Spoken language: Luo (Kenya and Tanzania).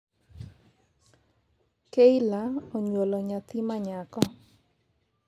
keila onyuolo nyathi ma nyako